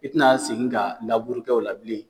I tɛna segin ka laburukɛ o la bilen.